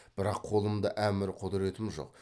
бірақ қолымда әмір құдіретім жоқ